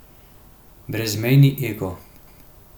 Brezmejni ego.